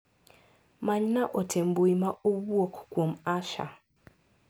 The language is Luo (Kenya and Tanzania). Manyy na ote mbui ma owuok kuom Asha.